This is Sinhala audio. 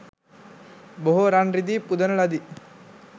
බොහෝ රන් රිදී පුදන ලදී